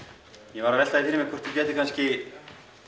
ég var að velta því fyrir mér hvort þú gætir kannski